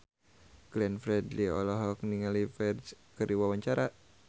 Glenn Fredly olohok ningali Ferdge keur diwawancara